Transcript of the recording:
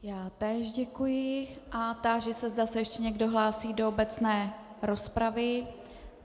Já též děkuji a táži se, zda se ještě někdo hlásí do obecné rozpravy.